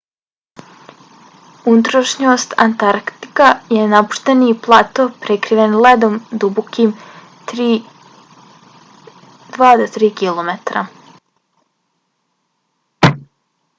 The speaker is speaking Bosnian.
unutrašnjost antarktika je napušteni plato prekriven ledom dubokim 2-3 km